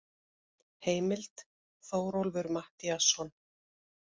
Heimild: Þórólfur Matthíasson.